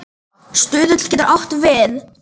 Stuðull getur átt við